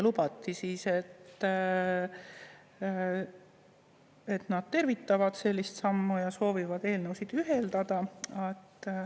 Lubati, et nad tervitavad sellist sammu ja soovivad eelnõusid ühendada.